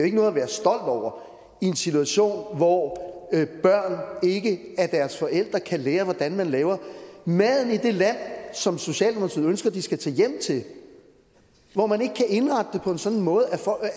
ikke noget at være stolt over i en situation hvor børn ikke af deres forældre kan lære hvordan man laver maden i det land som socialdemokratiet ønsker de skal tage hjem til og hvor man ikke kan indrette det på en sådan måde